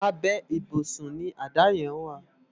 Àbè ibúsùn ni àdá yèn wá